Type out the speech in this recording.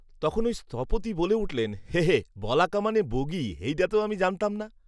তখন ওই স্থপতি বলে উঠলেন; 'হেঁঃ হেঁঃ বলাকা মানে বগী হেইডা তো আমি জানতাম না